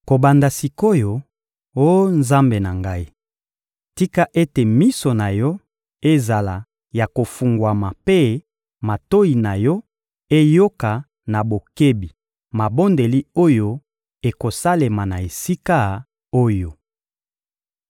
Kobanda sik’oyo, oh Nzambe na ngai, tika ete miso na Yo ezala ya kofungwama mpe matoyi na Yo eyoka na bokebi mabondeli oyo ekosalema na esika oyo!